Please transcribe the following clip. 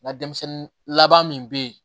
N ka denmisɛnnin laban min bɛ yen